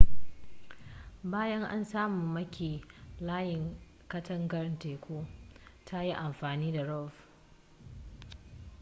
bayan an samu maki layin katangar teku ta yin amfani da rov